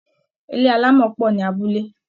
ilé alamo po ni abúlé.